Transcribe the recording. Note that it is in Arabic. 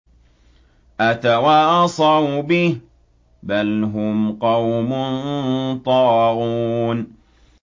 أَتَوَاصَوْا بِهِ ۚ بَلْ هُمْ قَوْمٌ طَاغُونَ